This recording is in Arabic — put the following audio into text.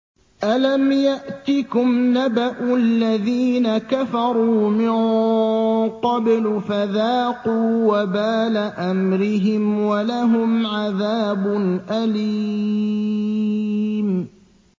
أَلَمْ يَأْتِكُمْ نَبَأُ الَّذِينَ كَفَرُوا مِن قَبْلُ فَذَاقُوا وَبَالَ أَمْرِهِمْ وَلَهُمْ عَذَابٌ أَلِيمٌ